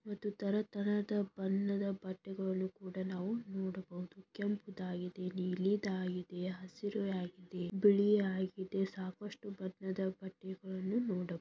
ಒಂದು ತರತರಹದ ಬಣ್ಣದ ಬಟ್ಟೆಗಳನ್ನು ಕೂಡ ನಾವು ನೋಡಬಹುದು ಕೆಂಪುದಾಗಿದೆ ನೀಲಿದಾಗಿದೆ ಹಸಿರು ಆಗಿದೆ ಬಿಳಿ ಆಗಿದೆ ಸಾಕಷ್ಟು ಬಣ್ಣದ ಬಟ್ಟೆಗಳನ್ನು ನೋಡಬಹುದು.